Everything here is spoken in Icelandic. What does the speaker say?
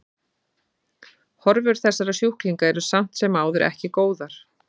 Horfur þessara sjúklinga eru samt sem áður eru ekki góðar.